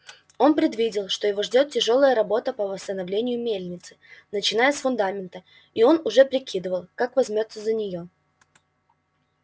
он предвидел что его ждёт тяжёлая работа по восстановлению мельницы начиная с фундамента и он уже прикидывал как возьмётся за нее